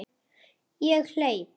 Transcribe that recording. Ég hleyp.